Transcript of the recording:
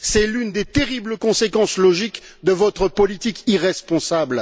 C'est l'une des terribles conséquences logiques de votre politique irresponsable.